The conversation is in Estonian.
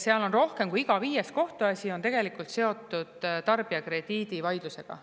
Seal on rohkem kui iga viies kohtuasi seotud tarbijakrediidivaidlusega.